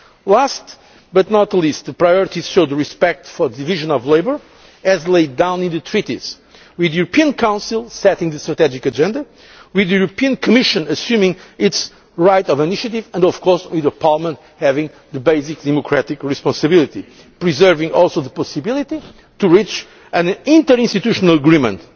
and jobs. Last but not least, the priorities show the respect for the division of labour as laid down in the Treaties, with the European Council setting a strategic agenda, with the European Commission assuming its right of initiative, and of course, with Parliament having the basic democratic responsibility, preserving the possibility to reach an inter institutional